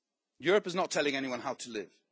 Europe is not telling anyone how to live.